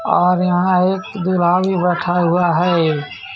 और यहां एक दूल्हा भी बैठा हुआ है.